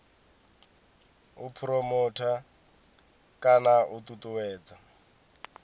u phuromotha kana u ṱuṱuwedza